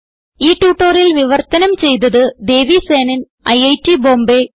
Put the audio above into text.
ഈ ട്യൂട്ടോറിയൽ വിവർത്തനം ചെയ്തത് ദേവി സേനൻ ഐറ്റ് ബോംബേ